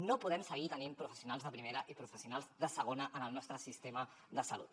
no podem seguir tenint professionals de primera i professionals de segona en el nostre sistema de salut